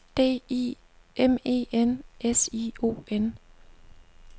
D I M E N S I O N